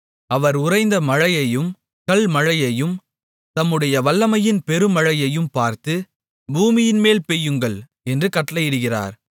அவர் உறைந்த மழையையும் கல்மழையையும் தம்முடைய வல்லமையின் பெருமழையையும் பார்த்து பூமியின்மேல் பெய்யுங்கள் என்று கட்டளையிடுகிறார்